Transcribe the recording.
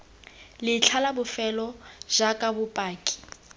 letlha la bofelo jaaka bopaki